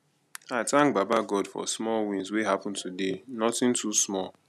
i thank baba god for small wins wey happen today nothing too small